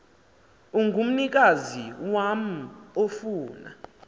ongumnikazi wam ofuna